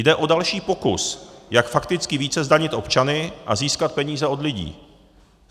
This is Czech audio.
Jde o další pokus, jak fakticky více zdanit občany a získat peníze od lidí.